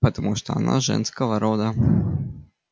потому что она женского рода